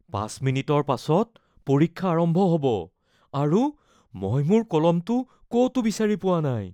পাঁচ মিনিটৰ পাছত পৰীক্ষা আৰম্ভ হ'ব আৰু মই মোৰ কলমটো ক’তো বিচাৰি পোৱা নাই